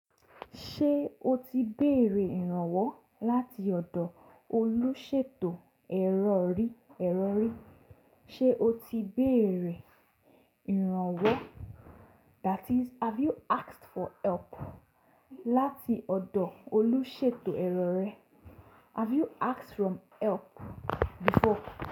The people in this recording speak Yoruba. Ṣé o ti béèrè ìrànwọ́ láti ọ̀dọ̀ olúṣètò ẹ̀rọ rí? Ṣé o ti béèrè ìrànwọ́ that is have you asked for help láti ọ̀dọ̀ olúṣètò ẹ̀rọ rẹ? Have you asked from help before?